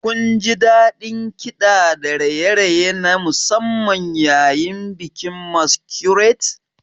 Kunji daɗin kiɗa da raye-raye na musamman yayin bikin Masquerade?